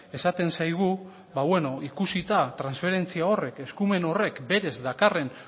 esaten zaigu ba beno ikusita transferentzia horrek eskumen horrek berez dakarren